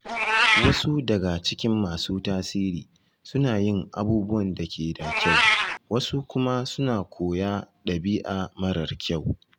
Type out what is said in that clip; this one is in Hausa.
Wasu daga cikin masu tasiri suna yin abubuwan da ke da kyau, wasu kuma suna koya ɗabi’a marar kyau.